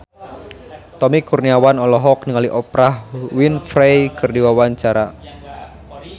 Tommy Kurniawan olohok ningali Oprah Winfrey keur diwawancara